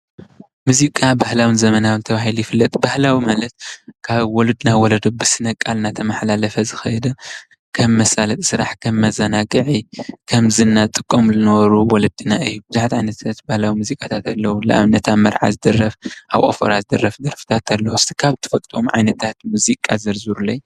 ሙዚቃ ባህላውን ዘመናውን ተባሂሉ ይፍለጥ፡፡ ባህላዊ ማለት ካብ ወለዶ ናብ ወለዶ ብስነ ቃል እናተመሓላለፈ ዝኸደ ከም መሳለጢ ስራሕ፣ ከም መዘናግዒ፣ ከም ዝና ዝጥቀምሉ ዝነበሩ ወለድና እዩ፡፡ ብዙሓት ዓይነታት ባህላዊ ሙዚቃታት ኣለዉ፡፡ ለኣብነት ኣብ መርዓ ዝድረፍ፣ ኣብ ወፈራ ዝድረፍ ደርፍታት ኣሎ፡፡ እስኪ ካብ ትፈልጥዎም ዓይነታት ሙዚቃ ዘርዝሩለይ፡፡